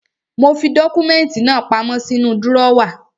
Mo fi dọ́kúmẹ́ntì náà pamọ́ sínú drọ́wà.